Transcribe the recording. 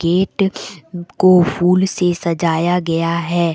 Gate को फूल से सजाया गया है।